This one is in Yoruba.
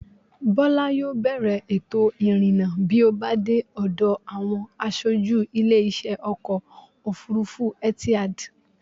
Bọ́lá yóò bèèrè ètò-ìrìnnà bí ó bá dé ọ̀dọ̀ àwọn asojú ilé-isẹ́ Ọkọ̀-òfurufú Etihad.